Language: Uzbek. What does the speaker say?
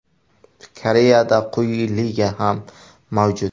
Koreyada quyi liga ham mavjud.